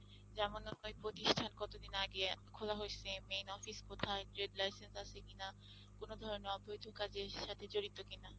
যেমন হয় প্রতিষ্ঠান কতদিন আগে খোলা হইসে, main office কোথায়, trade license আছে কিনা, কোন ধরনের অবৈধ কাজের সাথে জড়িত কিনা?